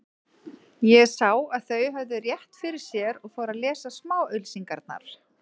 Ég sá að þau höfðu rétt fyrir sér og fór að lesa smáauglýsingarnar.